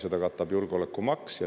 Seda katab julgeolekumaks.